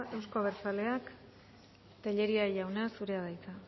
euzko abertzaleak tellería jauna zurea da hitza